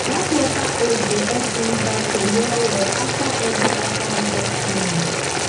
dat water hose dey epp rinse basket well well after every after harvest cleaning